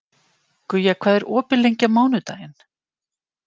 Guja, hvað er opið lengi á mánudaginn?